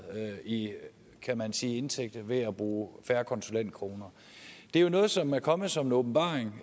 i kan man sige indtægter ved at bruge færre konsulentkroner det er jo noget som er kommet som en åbenbaring